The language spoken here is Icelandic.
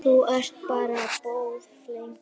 Þú ert bara boðflenna.